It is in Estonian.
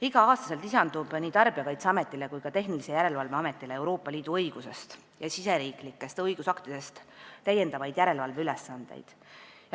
Iga aasta lisandub nii Tarbijakaitseametile kui ka Tehnilise Järelevalve Ametile Euroopa Liidu õigusest ja riigisisestest õigusaktidest täiendavaid järelevalveülesandeid.